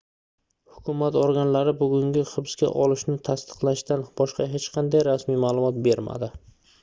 hukumat organlari bugungi hibsqa olishni tasdiqlashdan boshqa hech qanday rasmiy maʼlumot bermadi